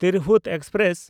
Tirhut express